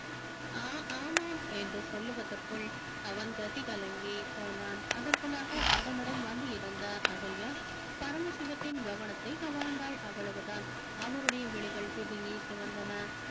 ஆஹ் ஆமாம் என்று சொல்லுவதற்குள் அவன் கதி கலங்கி போனான் அதற்குள்ளாக அவனுடன் வந்து இருந்த அகல்யா பரமசிவத்தின் கவனத்தை கவர்ந்தாள் அவ்வளவுதான் அவருடைய விழிகள் பிதுங்கி சிவந்தன